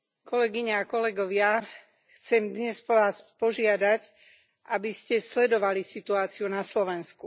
Kolegyne a kolegovia, chcem vás dnes požiadať, aby ste sledovali situáciu na Slovensku.